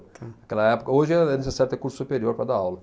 Naquela época, hoje é é necessário ter curso superior para dar aula.